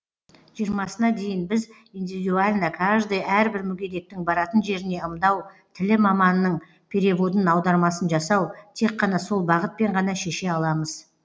жиырмасына дейін біз индивидуально каждый әрбір мүгедектің баратын жеріне ымдау тілі маманының переводын аудармасын жасау тек қана сол бағытпен ғана шеше аламыз